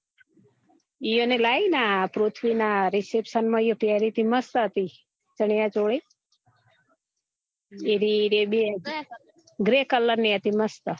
ઈયોને ને લાઈ ને આ પૃથ્વી ના reception માં યો પેરી હતી મસ્ત હતી ચણીયાચોલી એ રી grey colour ની હતી મસ્ત